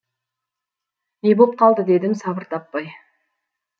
не боп қалды дедім сабыр таппай